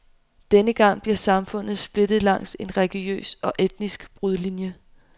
Denne gang bliver samfundet splittet langs en religiøs og etnisk brudlinie.